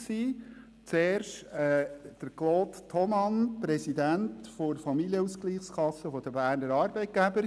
Die erste Aussage ist von Claude Thomann, er ist Präsident der Familienausgleichskassen der Berner Arbeitgeber: